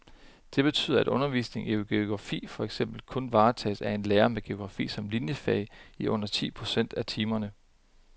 Det betyder, at undervisningen i geografi for eksempel kun varetages af en lærer med geografi som liniefag i under ti procent af timerne.